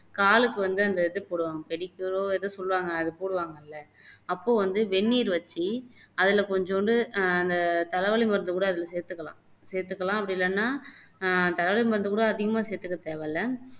காலுக்கு வந்து அந்த இது போடுவாங்க pedicure ஓ எதோ சொல்லுவாங்க அது போடுவாங்கல்ல அப்போ வந்து வெந்நீர் வச்சு அதுல கொஞ்சூண்டு ஆஹ் அந்த தலை வலி மருந்து கூட அதுல சேத்துக்கலாம் சேத்துக்கலாம் அப்படி இல்லன்னா ஆஹ் தலை வலி மருந்து கூட அதிகமா சேத்துக்க தேவையில்ல